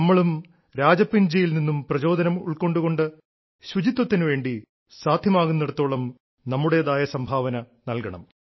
നമ്മളും രാജപ്പൻജിയിൽ നിന്നും പ്രചോദനം ഉൾക്കൊണ്ടു കൊണ്ട് ശുചിത്വത്തിനു വേണ്ടി സാധ്യമാകുന്നിടത്തോളം നമ്മുടേതായ സംഭാവന നൽകണം